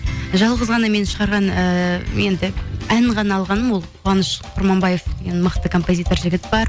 жалғыз ғана мен шығарған ііі енді ән ғана алғаным ол қуаныш құрманбаев деген мықты композитор жігіт бар